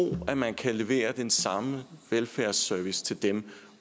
at man kan levere den samme velfærdsservice til dem